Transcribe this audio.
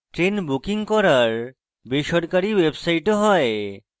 train booking করার বেসরকারী websites ও হয়